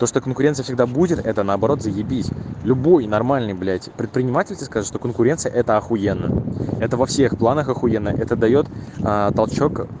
то что конкуренция всегда будет это наоборот заебись любой нормальный блять предприниматель тебе скажет что конкуренция это ахуенно это во всех планах ахуенно это даёт толчок